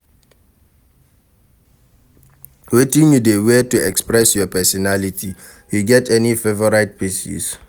Wetin you dey wear to express your pesinality, you get any favorite pieces?